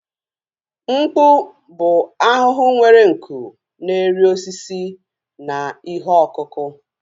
Mkpu bụ ahụhụ nwere nku na-eri osisi na ihe ọkụkụ